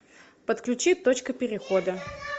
подключи точка перехода